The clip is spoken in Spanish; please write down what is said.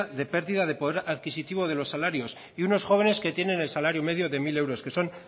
de pérdida de poder adquisitivo de los salarios y unos jóvenes que tienen el salario medio de mil euros que son